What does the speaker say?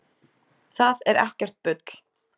Það er ekkert bull.